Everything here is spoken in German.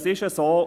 Es ist so: